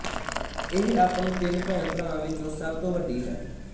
ਇਹ ਆਪਣੇ ਤਿੰਨ ਭੈਣਭਰਾਵਾਂ ਵਿਚੋਂ ਸਭ ਤੋਂ ਵੱਡੀ ਹੈ